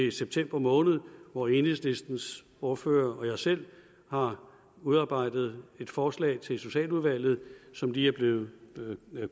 i september måned hvor enhedslistens ordfører og jeg selv har udarbejdet et forslag til socialudvalget som lige er blevet